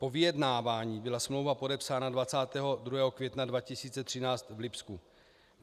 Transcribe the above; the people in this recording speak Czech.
Po vyjednávání byla smlouva podepsána 22. května 2013 v Lipsku.